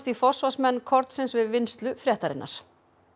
í forsvarsmenn kornsins við vinnslu fréttarinnar